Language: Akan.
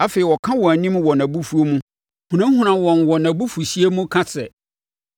Afei ɔka wɔn anim wɔ nʼabufuo mu hunahuna wɔn wɔ nʼabufuhyeɛ mu, ka sɛ,